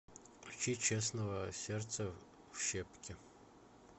включи честного сердце в щепки